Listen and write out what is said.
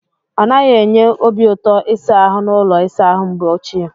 Ọ naghị enye obiụtọ ịsa ahụ n'ụlọ ịsa ahụ mgbe ochie.